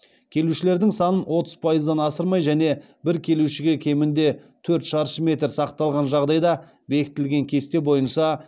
келушілердің санын отыз пайыздан асырмай және бір келушіге кемінде төрт шаршы метр сақталған жағдайда бекітілген кесте бойынса